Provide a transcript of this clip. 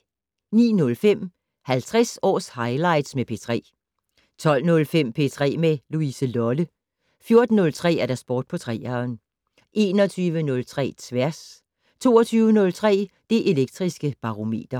09:05: 50 års highlights med P3 12:05: P3 med Louise Lolle 14:03: Sport på 3'eren 21:03: Tværs 22:03: Det Elektriske Barometer